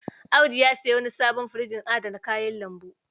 Audu ya sayo wani sabon firjin adana kayan lambu.